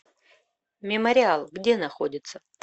мемориал где находится